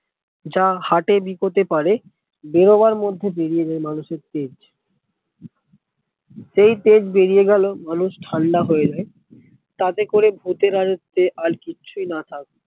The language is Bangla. যা হাঁটে বিকোতে পারে বেরোবার মধ্যে বেরিয়ে যায় মানুষের তেজ সেই তেজ বেরিয়ে গেলে মানুষ ঠান্ডা হয়ে যায় তাতে করে ভুতের আর সে আর কিছুই না থাকে